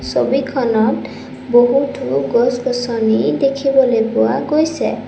ছবিখনত বহুতো গছ-গছনি দেখিবলে পোৱা গৈছে।